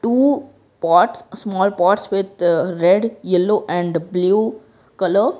two pots small pots with red yellow and blue colour.